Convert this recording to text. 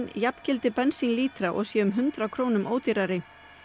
jafngildi bensínlítra og sé um hundrað krónum ódýrari